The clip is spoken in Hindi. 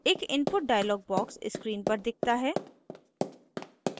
एक input dialog box screen पर दिखता है